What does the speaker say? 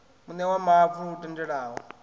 muṋe wa mavu lu tendelaho